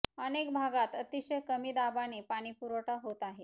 अनेक भागात अतिशय कमी दाबाने पाणी पुरवठा होत आहे